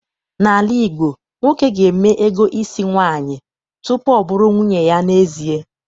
N'ala Igbo, nwoke ga-eme ego isi nwaanyị tutu ọ bụrụ nwunye ya n'ezie.